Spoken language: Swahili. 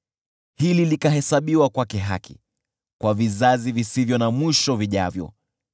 Hili likahesabiwa kwake haki, kwa vizazi visivyo na mwisho vijavyo.